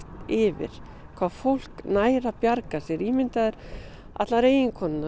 yfir hvað fólk nær að bjarga sér allar eiginkonurnar